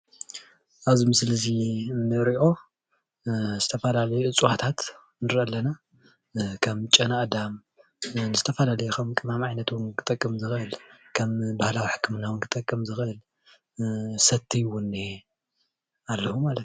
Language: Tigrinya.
ኣብዚ ምስሊ እዙይ እንሪኦ ዝተፈላለዩ እፅዋታት ንርኢ ኣለና ።ከም ጨናኣዳም ዝተፈላለዩ ከም ቅመም ዓይነት ክጠቅም ዝክእል ከም ባህላዊ ሕክምና ክጠቅም ዝክእል ሰቲ እዉን እኒኤኣለዉ ማለት እዩ።